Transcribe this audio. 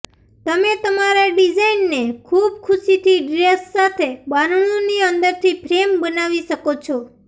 તમે તમારા ડિઝાઇનને ખુબ ખુશીથી ડ્રેસ સાથે બારણુંની અંદરથી ફ્રેમ બનાવી શકો છો